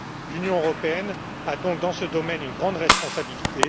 L'Union européenne a donc dans ce domaine une grande responsabilité.